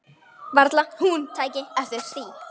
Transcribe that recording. Varla hún tæki eftir því.